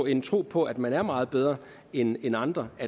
en tro på at man er meget bedre end andre og